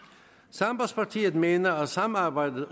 sambandspartiet mener at samarbejdet